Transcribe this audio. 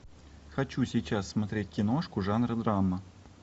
хочу сейчас смотреть киношку жанра драма